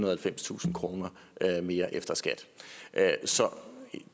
og halvfemstusind kroner mere efter skat så